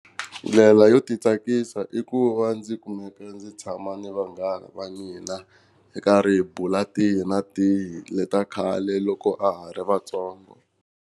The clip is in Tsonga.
Ndlela yo titsakisa i ku va ndzi kumeka ndzi tshama ni vanghana va mina hi karhi hi bula tihi na tihi leta khale loko a ha ri vatsongo.